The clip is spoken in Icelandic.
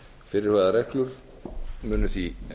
fyrirhugaðar reglur munu því